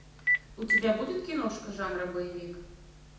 у тебя будет киношка жанра боевик